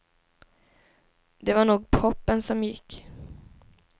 Det var nog proppen som gick.